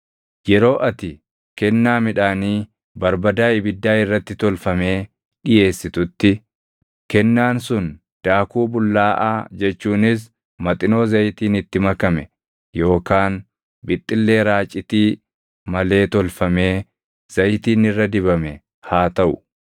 “ ‘Yeroo ati kennaa midhaanii barbadaa ibiddaa irratti tolfamee dhiʼeessitutti, kennaan sun daakuu bullaaʼaa jechuunis maxinoo zayitiin itti makame yookaan bixxillee raacitii malee tolfamee zayitiin irra dibame haa taʼu.